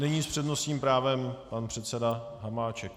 Nyní s přednostním právem pan předseda Hamáček.